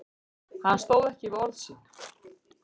Hann stóð ekki við orð sín.